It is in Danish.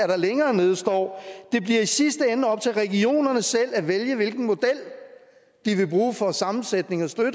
der længere nede står det bliver i sidste ende op til regionerne selv at vælge hvilken model de vil bruge for sammensætning af støtte